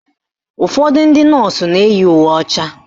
Ụfọdụ ndị nọọsụ na-eyi uwe ọcha